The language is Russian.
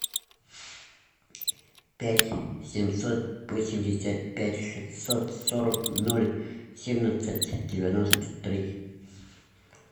пять семьсот восемьдесят пять шестьсот сорок ноль семнадцать девяносто три